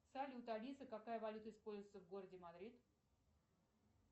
салют алиса какая валюта используется в городе мадрид